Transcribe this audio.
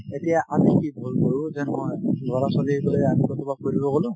এতিয়া আমিও কি ভূল কৰো যে নহয় লৰা-ছোৱালি বোলে আমি কৰবাত ফুৰিব গলো